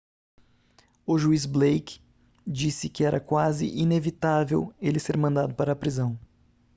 o juiz blake disse que era quase inevitável ele ser mandado para a prisão